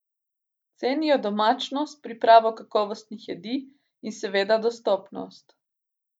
Cenijo domačnost, pripravo kakovostnih jedi in seveda dostopnost.